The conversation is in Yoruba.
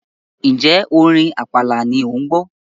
ǹjẹ́ orin àpàlà ni òun gbọ́?